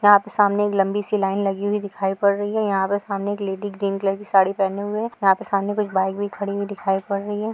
यहाँ पे सामने एक लंबी सी लाइन लगी हुई दिखाई पड़ रही है। यहाँ पे एक लेडी ग्रीन कलर की साड़ी पहने हुए है। यहाँ पे सामने कुछ बाइक खड़ी दिखाई पड़ रही है।